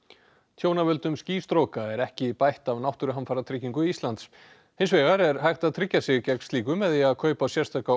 tjón af völdum er ekki bætt af Náttúruhamfaratryggingum Íslands hins vegar er hægt að tryggja sig gegn slíku með því að kaupa sérstaka